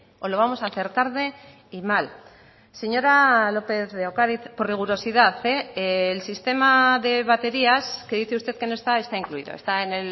o lo vamos a hacer tarde y mal señora lópez de ocariz por rigurosidad el sistema de baterías que dice usted que no está está incluido está en